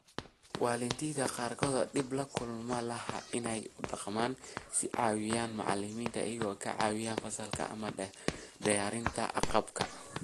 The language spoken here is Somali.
Waalidiinta qaarkood dhib kuma laha inay u dhaqmaan sidii caawiye macalin iyagoo ka caawinaya fasalka ama diyaarinta agabka.